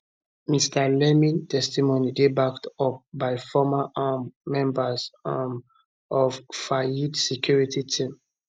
mr leeming testimony dey backed up by former um members um of fayed security team